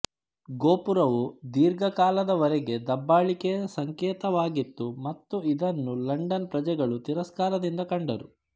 ಗೋಪುರವು ದೀರ್ಘ ಕಾಲದವರೆಗೆ ದಬ್ಬಾಳಿಕೆಯ ಸಂಕೇತವಾಗಿತ್ತು ಮತ್ತು ಇದನ್ನು ಲಂಡನ್ ಪ್ರಜೆಗಳು ತಿರಸ್ಕಾರದಿಂದ ಕಂಡರು